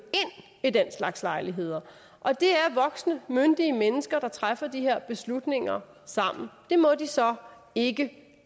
i den slags lejligheder og det er voksne myndige mennesker der træffer de her beslutninger sammen det må de så ikke